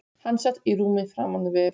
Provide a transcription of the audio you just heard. Hann sat í rúmi framan við